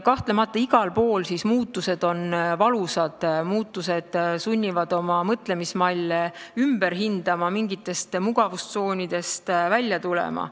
Kahtlemata, muutused on igal pool valusad, muutused sunnivad oma mõtlemismalle ümber hindama, mingist mugavustsoonist välja tulema.